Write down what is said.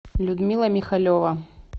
людмила михалева